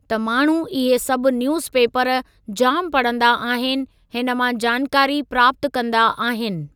त माण्हू इहे सभु न्यूज़ पेपर जाम पढ़ंदा आहिनि हिन मां जानकारी प्राप्तु कंदा आहिनि।